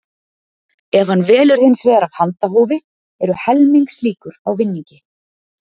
Ef hann velur hins vegar af handahófi eru helmings líkur á vinningi.